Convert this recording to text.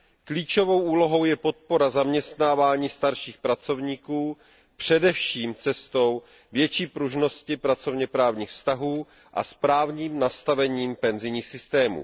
klíčovou úlohou je podpora zaměstnávání starších pracovníků především cestou větší pružnosti pracovněprávních vztahů a správným nastavením penzijních systémů